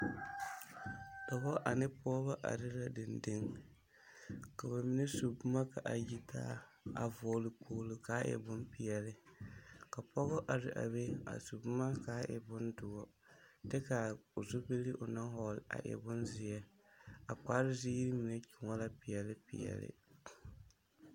Dͻbͻ ane pͻgebͻ are la dendeŋ, ka ba mine su boma ka a yitaa, a vͻgele kpoolo ka a e bompeԑle. Ka pͻge are a be a su boma ka a e bondõͻ, kyԑ kaa o zupili onaŋ vͻgele a e bonzeԑ. A kpare ziiri mine tõͻ la peԑle peԑle.